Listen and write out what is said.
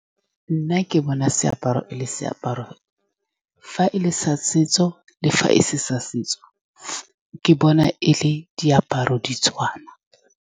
Nna ke bona seaparo e le seaparo. Fa e le sa setso le fa e se sa setso, ke bona e le diaparo ditshwana.